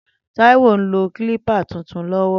Taiwo n ló klípà tútún lọwọ